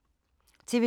TV 2